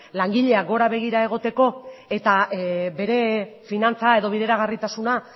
langileak gora begira egoteko eta bere finantza edo bideragarritasuna